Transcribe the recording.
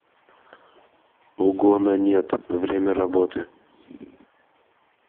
угонанет время работы